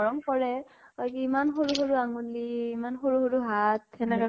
মৰম কৰে । কয় কি ইমান সৰু সৰু আঙলী, ইমান সৰু সৰু হাত, সেনেকে